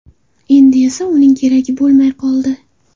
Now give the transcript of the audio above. Endi esa uning keragi bo‘lmay qoldi.